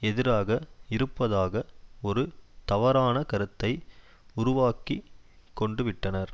எதிராக இருப்பதாக ஒரு தவறான கருத்தை உருவாக்கி கொண்டுவிட்டனர்